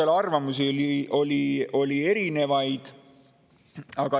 Ja arvamusi oli erinevaid.